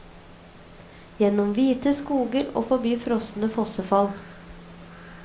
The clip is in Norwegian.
Gjennom hvite skoger og forbi frosne fossefall.